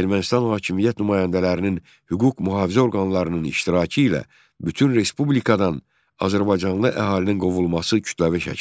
Ermənistan hakimiyyət nümayəndələrinin, hüquq-mühafizə orqanlarının iştirakı ilə bütün respublikadan azərbaycanlı əhalinin qovulması kütləvi şəkil aldı.